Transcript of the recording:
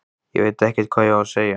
Ég veit ekkert hvað ég á að segja.